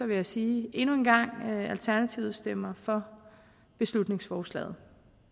vil jeg sige endnu en gang at alternativet stemmer for beslutningsforslaget